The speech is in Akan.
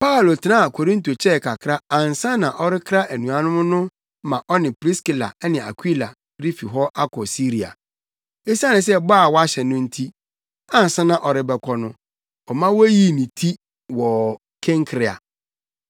Paulo tenaa Korinto kyɛɛ kakra ansa na ɔrekra anuanom no ma ɔne Priskila ne Akwila refi hɔ akɔ Siria. Esiane bɔ a na wahyɛ no nti, ansa na ɔrebɛkɔ no, ɔma woyii ne ti wɔ Kenkrea.